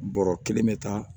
Bɔrɔ kelen bɛ taa